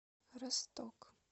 росток